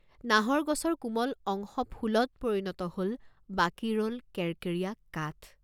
নাহৰ গছৰ কোমল অংশ ফুলত পৰিণত হল, বাকী ৰল কেৰেকেৰীয়া কাঠ।